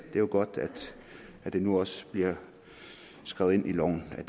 er jo godt at det nu også bliver skrevet ind i loven at